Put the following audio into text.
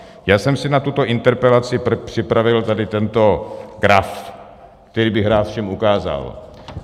Já jsem si na tuto interpelaci připravil tady tento graf, který bych rád všem ukázal.